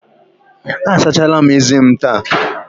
Asachala m eze m taa.